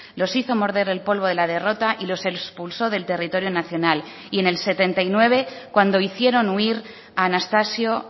los hizo morder el polvo de la derrota y los expulso del territorio nacional y en el setenta y nueve cuando hicieron huir a anastasio